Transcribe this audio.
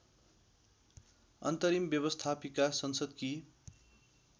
अन्तरिम व्यवस्थापिका संसदकी